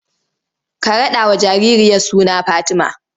Ka raɗawa jaririyar suna Fatima!